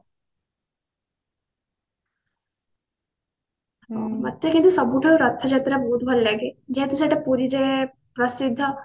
ମୋତେ କିନ୍ତୁ ସବୁଠୁ ରଥଯାତ୍ରା ବହୁତ ଭଲଲାଗେ ଯେହେତୁ ସେଟା ପୁରୀ ରେ ପ୍ରସିଦ୍ଧ